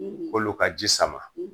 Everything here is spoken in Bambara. K'olu ka ji sama